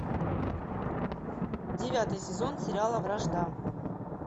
девятый сезон сериала вражда